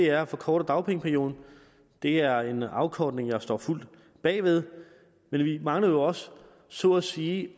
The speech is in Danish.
er at forkorte dagpengeperioden og det er en afkortning jeg står fuldt bag ved men vi mangler jo også så at sige